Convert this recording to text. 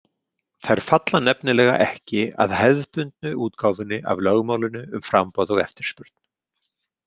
Þær falla nefnilega ekki að hefðbundnu útgáfunni af lögmálinu um framboð og eftirspurn.